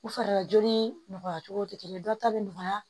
U farilajolen nɔgɔya cogo tɛ kelen ye dɔ ta bɛ nɔgɔya